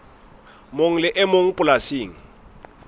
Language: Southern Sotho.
mong le e mong polasing